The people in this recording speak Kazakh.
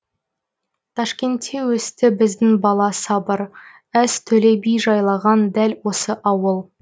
ташкентте өсті біздің бала сабыр әз төле би жайлаған дәл осы ауыл